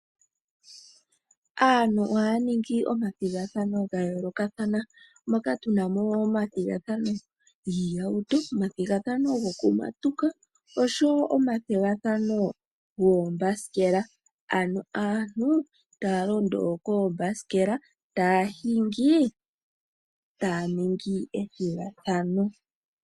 Aantu ohaya ningi omathigathano ga yooloka mono tuna omathigathano giihauto, gokumatuka oshowo goombasikela ano aantu taya londo koombasikela taya hingi taya ningi ethigathano.